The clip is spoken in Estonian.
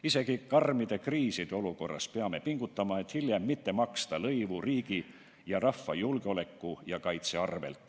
Isegi karmide kriiside olukorras peame pingutama, et hiljem mitte maksta lõivu riigi ja rahva julgeoleku ja kaitse arvel.